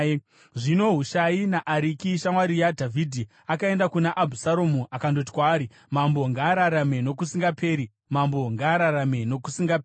Zvino Hushai muAriki, shamwari yaDhavhidhi, akaenda kuna Abhusaromu akandoti kwaari, “Mambo ngaararame nokusingaperi! Mambo ngaararame nokusingaperi!”